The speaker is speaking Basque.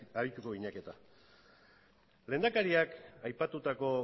arituko ginateke eta lehendakariak aipatutako